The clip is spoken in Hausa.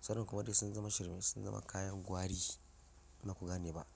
sauran kuma ɗau sun zama shirmin sun zama kayan gwari in baku gane ba.